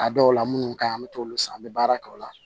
A dɔw la munnu ka ɲi an bɛ t'olu san an bɛ baara kɛ o la